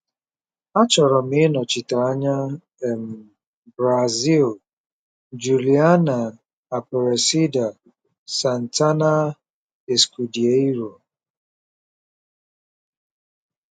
Achọrọ m ịnọchite anya um Brazil. - Juliana Aparecida Santana Escudeiro